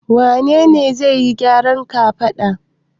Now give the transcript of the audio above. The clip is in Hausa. Wane ne zai yi gyaran kafada?